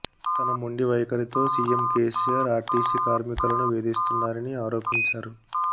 తన మొండి వైఖరితో సీఎం కేసీఆర్ ఆర్టీసీ కార్మికులను వేధిస్తున్నారని ఆరోపించారు